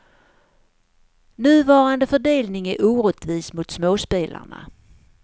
Nuvarande fördelning är orättvis mot småspelarna.